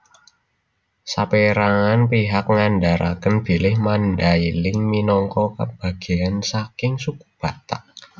Sapérangan pihak ngandharaken bilih Mandailing minangka bagéyan saking Suku Batak